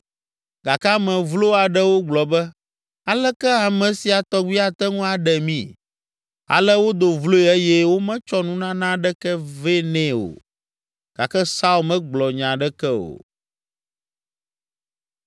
Gake ame vlo aɖewo gblɔ be, “Aleke ame sia tɔgbi ate ŋu aɖe mí?” Ale wodo vloe eye wometsɔ nunana ɖeke vɛ nɛ o, gake Saul megblɔ nya aɖeke o.